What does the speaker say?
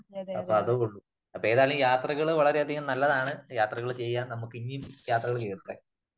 അപ്പോ അതേ ഉള്ളു. അപ്പോ ഏതായാലും യാത്രകള് വളരെ അധികം നല്ലതാണ് . യാത്രകള് ചെയ്യാ . നമുക്ക് എനിയും യാത്രകള്